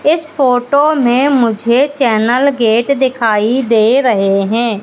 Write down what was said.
इस फोटो में मुझे चैनल गेट दिखाई दे रहे हैं।